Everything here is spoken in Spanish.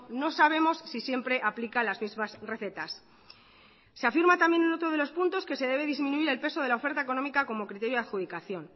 no sabemos si siempre aplica las mismas recetas se afirma también en otro de los puntos que se debe disminuir el peso de la oferta económica como criterio de adjudicación